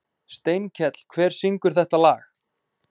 Steinkell, hver syngur þetta lag?